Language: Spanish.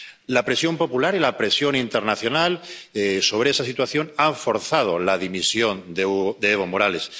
La presión popular y la presión internacional sobre esa situación han forzado la dimisión de Evo Morales.